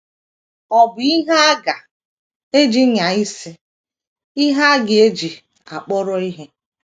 Ọ bụ ihe a ga - eji nyaa isi, ihe a ga - eji akpọrọ ihe.